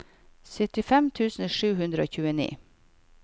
syttifem tusen sju hundre og tjueni